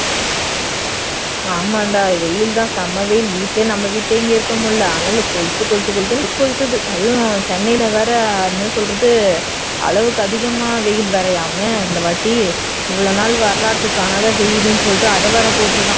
ஆமாண்டா வெயில் தான் செம வெயில் வீட்டிலேயே நம்ம வீட்ல இங்க இருக்க முடியல அனல் கொழுத்து கொழுத்து கொழுத்துன்னு கொளுத்துது அதுவும் சென்னையில் வேற என்ன சொல்றது அளவுக்கு அதிகமாக வெயில் வேறயாமே இந்த வாட்டி இவ்வளவு நாள் வரலாற்று காணாத வெயில்னு சொல்லிட்டு அத வேற போட்டு இருக்கான்